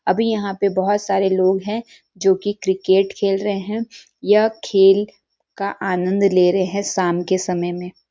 अभी यहाँ पर बहुत सारे लोग हैं जो की क्रिकेट खेल रहे हैं यह खेल का आनंद ले रहे है शाम के समय में --